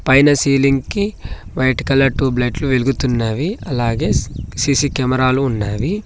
పైన సీలింగ్ కి white colour tube లైట్లు వెలుగుతున్నవి అలాగే సి సీసీ కెమెరా లు ఉన్నవి.